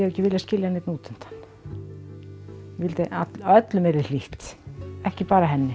ekki viljað skilja neinn út undan ég vildi að öllum væri hlýtt ekki bara henni